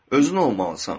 Özün olmalısan.